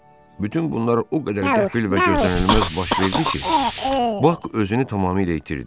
Bütün bunlar o qədər qəfil və gözlənilməz baş verdi ki, Bak özünü tamamilə itirdi.